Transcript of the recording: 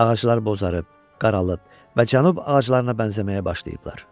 Ağaclar bozarıb, qaralıb və cənub ağaclarına bənzəməyə başlayıblar.